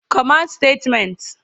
command Statements